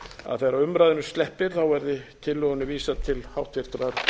að þegar umræðunni sleppir verði tillögunni vísað til háttvirtrar